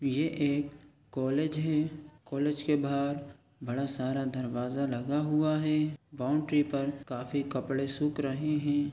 ये एक कॉलेज है कॉलेज के बाहर बड़ा सारा दरवाजा लगा हुआ है बाउंड्री पर काफी कपड़े सुख रहे है।